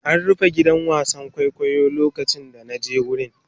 An rufe gidan wasan kwaikwayo lokacin da na je wurin.